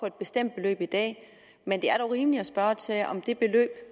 et bestemt beløb i dag men det er dog rimeligt at spørge til om det beløb